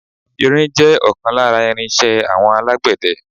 Irin jẹ́ ọ̀kan lára irin iṣẹ́ àwọn alágbẹ̀dẹ.